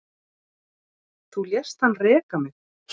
Þú lést hann reka mig